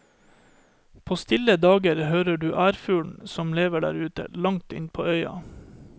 På stille dager hører du ærfuglen, som lever der ute, langt inn på øya.